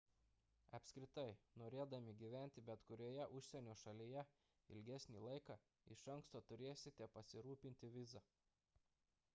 apskritai norėdami gyventi bet kurioje užsienio šalyje ilgesnį laiką iš anksto turėsite pasirūpinti viza